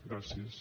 gràcies